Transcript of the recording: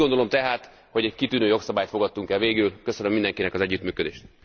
Úgy gondolom tehát, hogy egy kitűnő jogszabályt fogadtunk el végül, köszönöm mindenkinek az együttműködést.